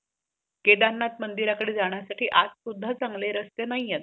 केदारनाथ मंदिराकड जाण्यासाठी आज सुधा चांगल्या रस्ते नाही आहेत